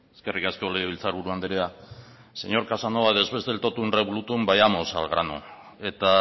eskerrik asko legebiltzar buru andrea señor casanova después del tótum revolútum vayamos al grano eta